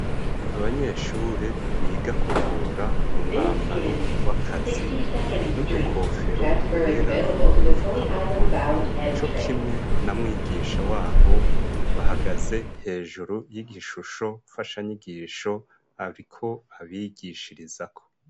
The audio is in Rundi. Abanyeshure biga kuvura mu mwambaro w'akazi, n'udukofero twera n'udufukamunwa cokimwe na mwigisha wabo, bahagaze hejuru y'igishusho mfashanyigisho ariko abigishirizako.